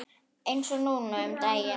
Eins og núna um daginn.